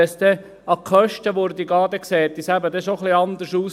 Wenn es aber um die Kosten ginge, sähe es etwas anders aus.